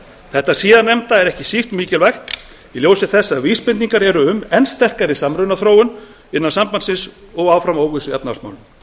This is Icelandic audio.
þetta síðarnefnda er ekki síst mikilvægt í ljósi þess að vísbendingar eru um enn sterkari samrunaþróun innan sambandsins og áfram óvissu í efnahagsmálum